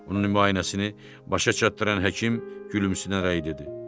Onun müayinəsini başa çatdıran həkim gülümsünərək dedi.